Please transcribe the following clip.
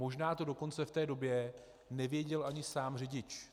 Možná to dokonce v té době nevěděl ani sám řidič.